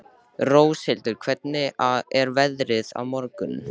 Róshildur, hvernig er veðrið á morgun?